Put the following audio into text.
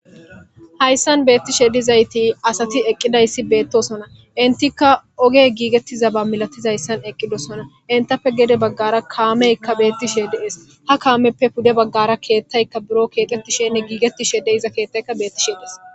Hayssan beettishe dizayti asati eqqidayssi beettosona intikka oge giigettizaba milatizayssan eqqidosona intappe gede baggara kaameykka beettishede es ha kaameppe pude baggara keettayka biro keeqetishenne giigetti shedey iza keettayka beetti sheedes.